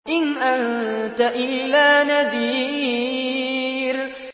إِنْ أَنتَ إِلَّا نَذِيرٌ